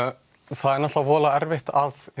það er náttúrulega voðalega erfitt